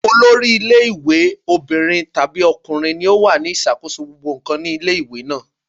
Olori ilé ìwé obìnrin tàbí ọkùnrin ni ó wà ní ìṣàkóso gbogbo ǹkan nílé ìwé náà.